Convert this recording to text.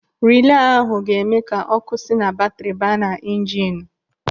Rilee ahụ ga-eme ka ọ́kụ́ si na batri baa na injinu.